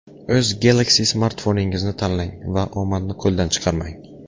O‘z Galaxy smartfoningizni tanlang va omadni qo‘ldan chiqarmang!